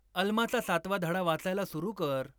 अल्माचा सातवा धडा वाचायला सुरु कर